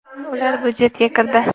Ular budjetga kirdi.